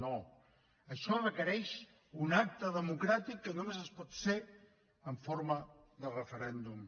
no això requereix d’un acte democràtic que només pot ser en forma de referèndum